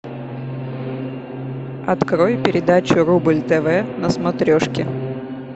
открой передачу рубль тв на смотрешке